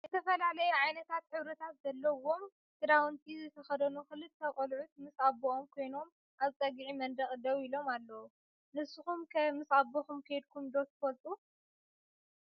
ዝተፈላለየ ዓይነት ሕብርታት ዘለወም ክዳውንቲ ዝተከደኑ ክልተ ቆልዕትን ምስ ኣቦኦም ኮይኖም ኣብ ፀግዒ መንደቅ ደው ኢሎም ኣለው። ዝስኩም ከ ምስ ኣበኩም ከዲኩም ዶ ትፈልጡ?